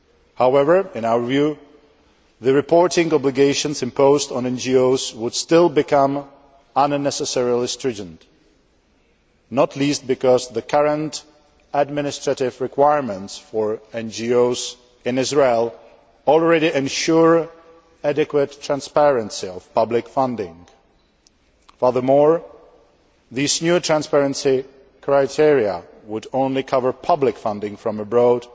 However, in our view, the reporting obligations imposed on NGOs would still become unnecessarily stringent, not least because the current administrative requirements for NGOs in Israel already ensure adequate transparency of public funding. Furthermore, these new transparency criteria would only cover public funding from abroad,